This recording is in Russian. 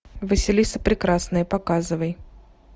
василиса прекрасная показывай